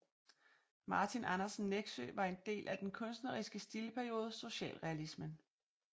Martin Andersen Nexø var en del af den kunstneriske stilperiode socialrealismen